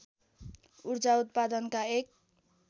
ऊर्जा उत्पादनका एक